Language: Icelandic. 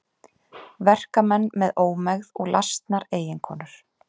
Verkamenn með ómegð og lasnar eiginkonur.